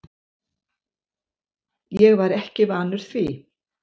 Ég var ekki vanur því.